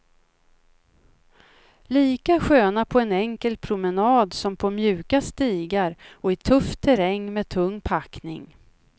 Lika sköna på en enkel promenad, som på mjuka stigar och i tuff terräng med tung packning.